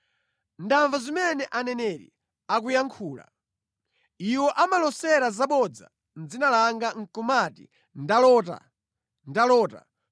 “Ndamva zimene aneneri akuyankhula. Iwo amalosera zabodza mʼdzina langa nʼkumati, ‘Ndalota! Ndalota!’